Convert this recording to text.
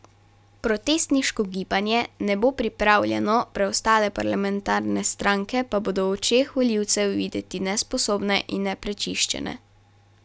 Protestniško gibanje ne bo pripravljeno, preostale parlamentarne stranke pa bodo v očeh volivcev videti nesposobne in neprečiščene.